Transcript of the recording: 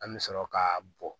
An bɛ sɔrɔ k'a bɔn